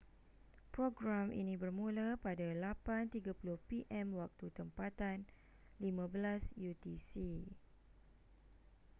program ini bermula pada 8:30 p.m. waktu tempatan 15.00 utc